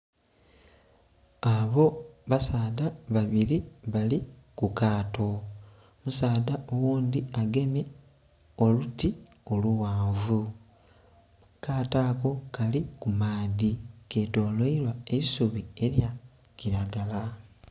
Abo basaadha babili bali ku kaato, musaadha oghundhi agemye oluti lughanvu, akaato ako kali ku maadhi. ketolwailwa eisubi elyakilagala.